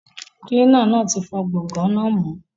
Kilina náa ti fọ gbọ̀ngàn náà mọ́